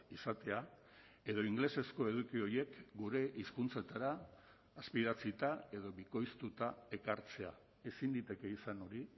izatea edo ingelesezko eduki horiek gure hizkuntzetara azpidatzita edo bikoiztuta ekartzea ezin liteke izan hori